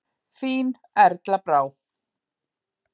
Þín Erla Brá.